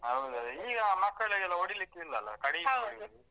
ಈಗ ಮಕ್ಕಳಿಗೆಲ್ಲ ಹೊಡಿಲಿಕ್ಕೆ ಇಲ್ಲಲ್ಲ .